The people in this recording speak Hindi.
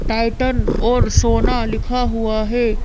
टाइटन और सोना लिखा हुआ है।